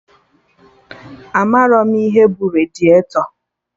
Amarọ m ihe bụ radiatọ